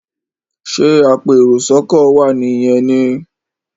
ṣe apẹ èrò sóko wá ní yén ní?